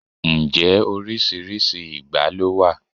Ǹjẹ́ oríṣiríṣi ìgbá ló wà?